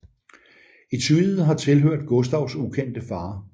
Etuiet har tilhørt Gustavs ukendte far